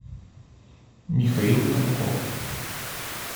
михаил тамков